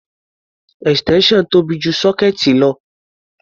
Extension tóbi ju sọ́kéẹ̀tì lọ.